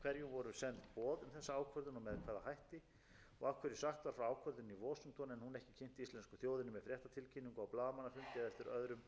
og ekki síst eftir efnahagshrunið og hina ítarlegu skýrslu rannsóknarnefndar alþingis átt umræður hér á alþingi um mikilvægi þess að auka gagnsæi og lýðræðisleg vinnubrögð bæði innan stjórnsýslunnar